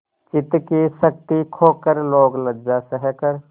चित्त की शक्ति खोकर लोकलज्जा सहकर